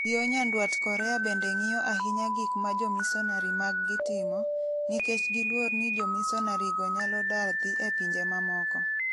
Yo nyandwat Korea bende ng'iyo ahinya gik ma jomisonari maggi timo, nikech giluor ni jomisonarigo nyalo dar dhi e pinje mamoko.